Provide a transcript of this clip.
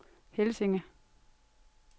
Helsinge